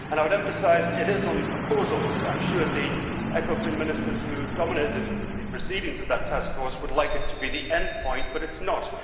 I would emphasise that these are only proposals. I am sure the ECOFIN Ministers who dominated the proceedings of that task force would like it to be the end point, but it is not.